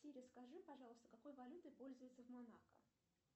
сири скажи пожалуйста какой валютой пользуются в монако